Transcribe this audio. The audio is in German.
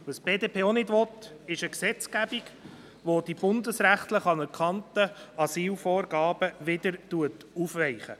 Was die BDP auch nicht will, ist eine Gesetzgebung, welche die bundesrechtlich anerkannten Asylvorgaben wieder aufweicht.